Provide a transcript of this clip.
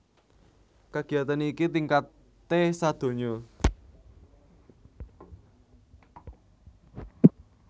Kagiyatan iki tingkaté sadonya